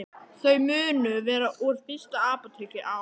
Þau munu vera úr fyrsta apóteki á